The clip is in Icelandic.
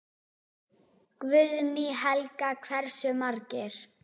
Guðný Helga: Hversu margir?